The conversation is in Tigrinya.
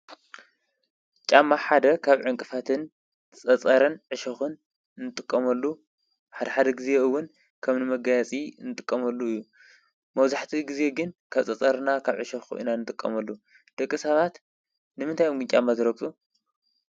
ጫማ ሓደ ካብ ዕንቅፋትን፣ ጸጸረን፣ ዕሸኹን እንጥቆመሉ ሓድ ሓደ ጊዜ እውን ከም ንመጋያጺ እንጥቆመሉ እዩ። መብዛሕቲኡ ግዜ ግን ካብ ፀጸርና፣ ካብ ዕሸኹን ኢና እንጥቆመሉ። ደቂ ሰባት ንምንታይ እዮም ግን ጫማ ዝረግፁ?